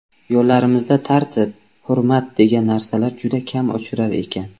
Yo‘llarimizda tartib, hurmat degan narsalar juda kam uchrar ekan.